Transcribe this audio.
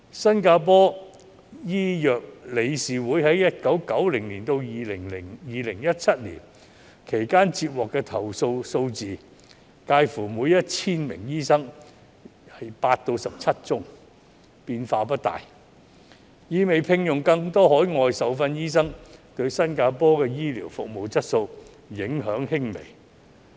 新加坡醫藥理事會在1990年至2017年期間接獲的投訴數字，介乎每 1,000 名醫生8宗至17宗，變化不大，意味聘用更多海外受訓醫生對新加坡的醫療服務質素影響輕微。